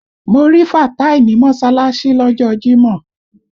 Mo rí Fàtáì ní mọ́ṣálásí lọ́jọ́ ọ jímọ̀